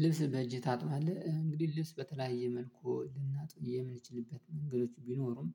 ልብስ በእጄ ታጥባለህ? እንግዲህ ልብስ በተለያየ መልኩ ልናጥብ የምንችልበት መንገዶች ቢኖሩም